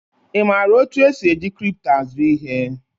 I maara otu esi eji kripto azụ ihe?